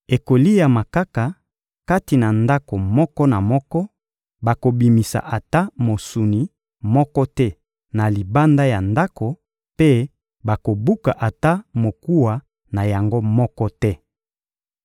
Ekoliama kaka kati na ndako moko na moko, bakobimisa ata mosuni moko te na libanda ya ndako mpe bakobuka ata mokuwa na yango moko te.